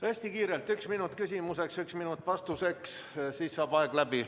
Hästi kiirelt üks minut küsimuseks ja üks minut vastuseks, siis saab aeg läbi.